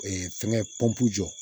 fɛngɛ jɔ